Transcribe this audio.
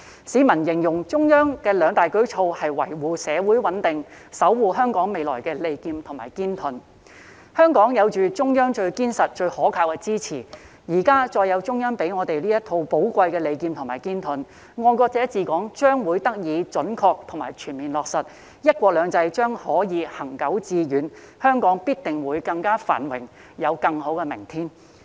市民形容中央的兩大舉措是維護社會穩定、守護香港未來的利劍和堅盾，香港有着中央最堅實、最可靠的支持，再加上現時中央給予這套寶貴的利劍和堅盾，"愛國者治港"將得以準確及全面落實，"一國兩制"將可以行久致遠，香港必定會更加繁榮，有更好的明天。